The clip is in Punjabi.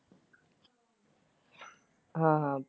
ਹਾਂ ਹਾਂ।